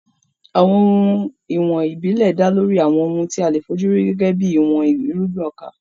Àwọn ohun ìwọ̀n ìbílẹ̀ dá lórí àwọn ohun tí a lè fi ojú rí gẹ́gẹ́ bí ìwọ̀n irúgbìn ọkà.